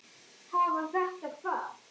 Hafa þetta hvað?